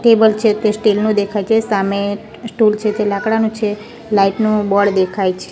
Table છે તે steel નુ દેખાય છે સામે સ્ટૂલ છે તે લાકડાનું છે લાઇટ નુ બોર્ડ દેખાય છે.